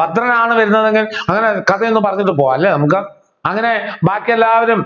ഭദ്രനാണ് വരുന്നതെങ്കിൽ അങ്ങനെ കഥയൊന്നു പറഞ്ഞിട്ട് പോകാം അല്ലെ നമുക്ക് അങ്ങനെ ബാക്കിയെല്ലാവരും